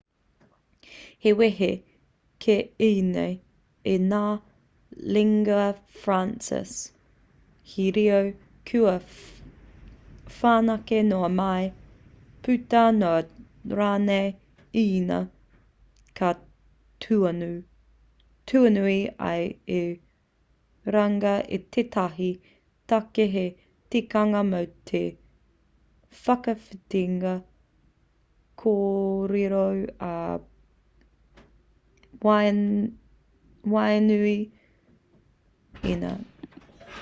he wehe kē ēnei i ngā lingua francas he reo kua whanake noa mai puta noa rānei ēnei ka tuanui ai i runga i tētahi take hei tikanga mō te whakawhitinga kōrero i waenganui i ngā kaikōrero o ētahi atu reo